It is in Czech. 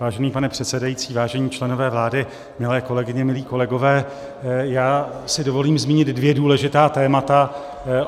Vážený pane předsedající, vážení členové vlády, milé kolegyně, milí kolegové, já si dovolím zmínit dvě důležitá témata.